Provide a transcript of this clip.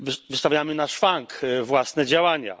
Wystawiamy na szwank własne działania.